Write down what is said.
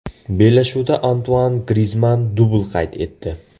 Bellashuvda Antuan Grizmann dubl qayd etdi.